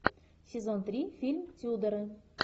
сезон три фильм тюдоры